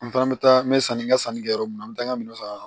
N fana bɛ taa n bɛ sanni n ka sanni kɛ yɔrɔ min na n bɛ taa n ka minɛnw san